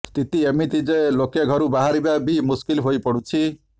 ସ୍ଥିତି ଏମିତି ଯେ ଲୋକେ ଘରୁ ବାହାରିବା ବି ମୁସ୍କିଲ ହୋଇପଡ଼ୁଛି